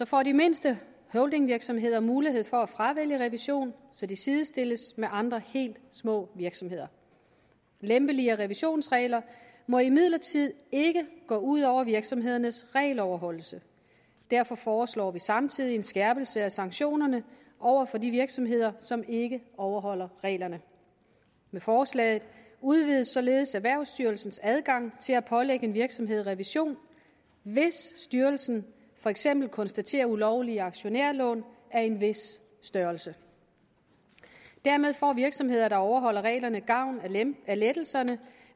får de mindste holdingvirksomheder mulighed for at fravælge revision så de sidestilles med andre helt små virksomheder lempeligere revisionsregler må imidlertid ikke gå ud over virksomhedernes regeloverholdelse derfor foreslår vi samtidig en skærpelse af sanktionerne over for de virksomheder som ikke overholder reglerne med forslaget udvides således erhvervsstyrelsens adgang til at pålægge en virksomhed revision hvis styrelsen for eksempel konstaterer ulovlige aktionærlån af en vis størrelse dermed får virksomheder der overholder reglerne gavn af lettelserne